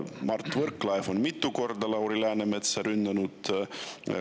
Mart Võrklaev on mitu korda Lauri Läänemetsa rünnanud.